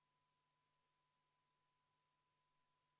Muudatusettepaneku nr 23 on esitanud Eesti Konservatiivse Rahvaerakonna fraktsioon.